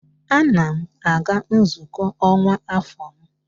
Ana m aga nzukọ ọkwa afọ m